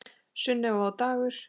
Sunneva og Dagur.